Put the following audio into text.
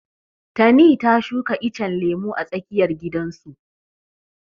Tani ta shuka icen lemu a tsakiyar gidan su.